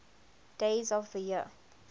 days of the year